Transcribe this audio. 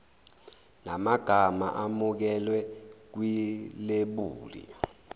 namagama amukelwe kwilebuli